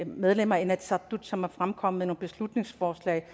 medlemmer af inatsisartut som er fremkommet med beslutningsforslag